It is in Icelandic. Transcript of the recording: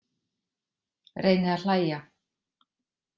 Reyni að hlæja.